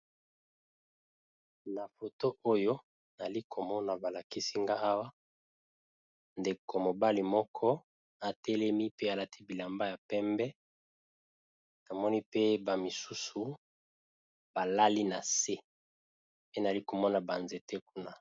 Na foto oyo nali komona ba lakisi nga awa ndeko mobali moko atelemi pe alati bilamba ya pembe, namoni pe ba misusu ba lali na se pe nali komona ba nzete kuna.